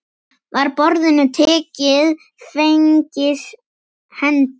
Var boðinu tekið fegins hendi.